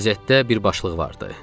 Qəzetdə bir başlıq vardı.